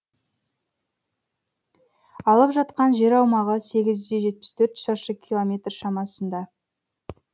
алып жатқан жер аумағы сегіз де жетпіс төрт шаршы километр шамасында